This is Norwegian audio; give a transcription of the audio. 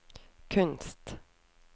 kunst